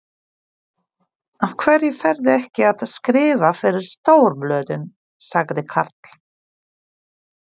Af hverju ferðu ekki að skrifa fyrir stórblöðin? sagði Karl.